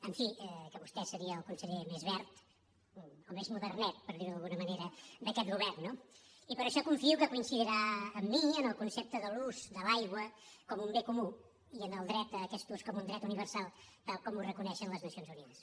en fi que vostè seria el conseller més verd o més modernet per dir ho d’alguna manera d’aquest govern i per això confio que coincidirà amb mi en el concepte de l’ús de l’aigua com un bé comú i en el dret a aquest ús com un dret universal tal com reconeixen les nacions unides